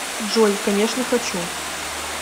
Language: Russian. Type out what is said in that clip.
джой конечно хочу